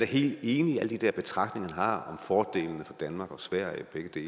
helt enig i alle de der betragtninger han har om fordelene for danmark og sverige begge